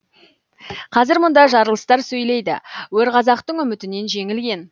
қазір мұнда жарылыстар сөйлейді өр қазақтың үмітінен жеңілген